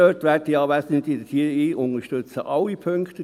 – Da unterstütze ich, werte Anwesende, alle Punkte.